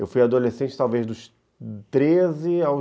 Eu fui adolescente talvez dos treze aos